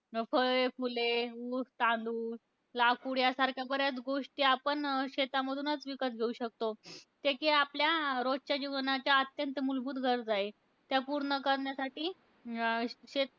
फळे, फुले, ऊस, तांदूळ, लाकूड यांसारख्या बऱ्याच गोष्टी आपण शेतामधूनच विकत घेऊ शकतो. त्या की आपल्या रोजच्या जीवनाच्या अत्यंत मुलभूत गरजा आहे, त्या पूर्ण करण्यासाठी, अं शेत